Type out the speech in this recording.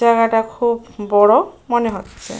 জায়গাটা খুব বড় মনে হচ্ছে।